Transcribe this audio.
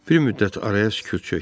Bir müddət araya sükut çökdü.